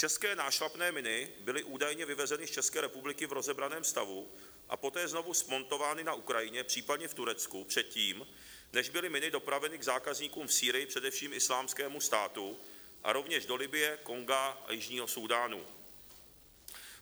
České nášlapné miny byly údajně vyvezeny z České republiky v rozebraném stavu a poté znovu smontovány na Ukrajině, případně v Turecku, předtím, než byly miny dopraveny k zákazníkům v Sýrii, především Islámskému státu, a rovněž do Libye, Konga a Jižního Súdánu.